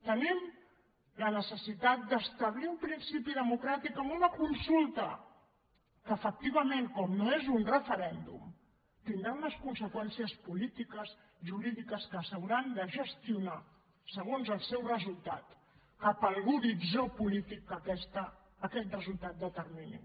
tenim la necessitat d’establir un principi democràtic amb una consulta que efectivament com que no és un referèndum tindrà unes conseqüències polítiques jurídiques que s’hauran de gestionar segons el seu resultat cap a l’horitzó polític que aquest resultat determini